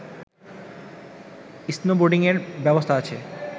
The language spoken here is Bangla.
স্নোবোর্ডিঙের ব্যবস্থা আছে